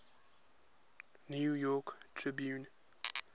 new york tribune